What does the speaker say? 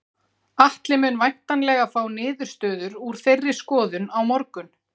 Atli mun væntanlega fá niðurstöður úr þeirri skoðun á morgun.